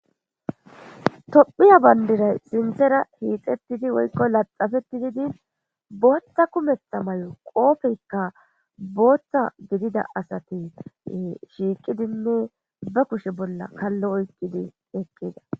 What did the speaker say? tophiya bandiray sinthera hiixettidi woykko laxafeti didin booththa kumetha may7o qoopeykka booththa gidida asati shiiqidinne ba kushe bolla kallo oykkidi eqqida